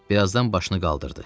Bir azdan başını qaldırdı.